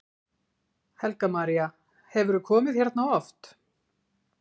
Helga María: Hefurðu komið hérna oft?